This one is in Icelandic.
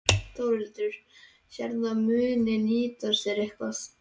Þórhildur: Sérðu að þetta muni nýtast þér eitthvað?